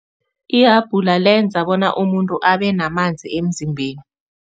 Ihabhula lenza bona umuntu abe namanzi emzimbeni.